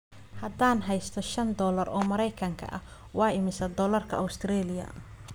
haddaan haysto shan dollar oo mareykan ah waa imisa doolarka Australia